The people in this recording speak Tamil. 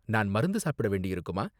நான் மருந்து சாப்பிட வேண்டியிருக்குமா?